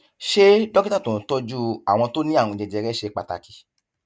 ṣé dókítà tó ń tọjú àwọn tó ní àrùn jẹjẹrẹ ṣe pàtàkì